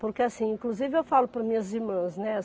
Porque, assim, inclusive eu falo para minhas irmãs, né?